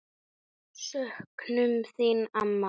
Söknum þín, amma.